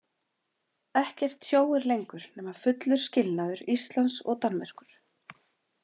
Ekkert tjóir lengur nema fullur skilnaður Íslands og Danmerkur.